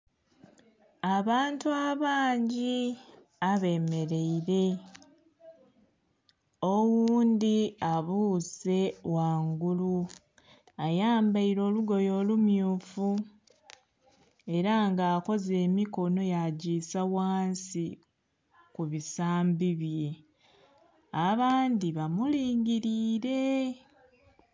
Abantu abangi ebe mereire oghundhi abuse ghangulu ayambaire olugoye olumyufu era nga akoze emikonho ya gisa ghansi mu bisambi bye abandhi ba mulingilile.